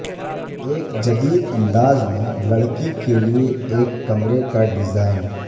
ایک جدید انداز میں لڑکی کے لئے ایک کمرے کا ڈیزائن